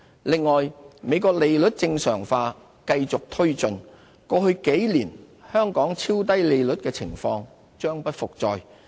另外，美國利率正常化繼續推進，過去數年香港超低利率的情況將不復再。